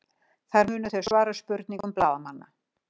Þar munu þau svara spurningum blaðamanna